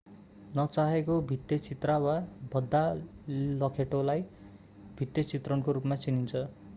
नचाहेको भित्ते चित्र वा भद्दा लेखोटलाई भित्ते चित्रणको रूपमा चिनिन्छ